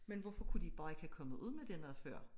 Men hvorfor kunne de ik bare ikke have kommet ud med det noget før